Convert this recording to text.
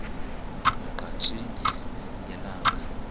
ne ngqatsini yelanga